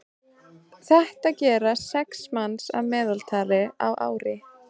þetta gera sex manns að meðaltali á ári